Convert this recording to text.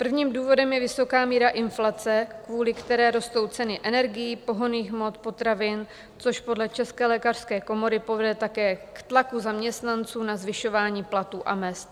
Prvním důvodem je vysoká míra inflace, kvůli které rostou ceny energií, pohonných hmot, potravin, což podle České lékařské komory povede také k tlaku zaměstnanců na zvyšování platů a mezd.